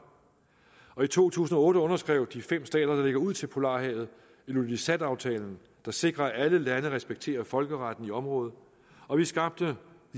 og i to tusind og otte underskrev de fem stater der ligger ud til polarhavet ilulisataftalen der sikrer at alle landene repræsenterer folkeretten i området og vi skabte